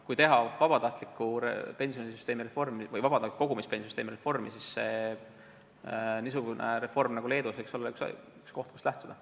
Kui teha vabatahtliku kogumispensioni süsteemi reformi, siis see niisugune reform nagu Leedus võiks olla üks, millest lähtuda.